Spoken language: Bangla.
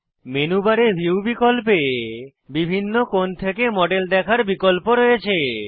মেনু বারে ভিউ বিকল্পে বিভিন্ন কোণ থেকে মডেল দেখার বিকল্প রয়েছে